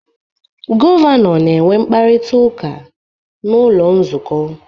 Gọvanọ na-enwe mkparịta ụka n'ụlọ nzukọ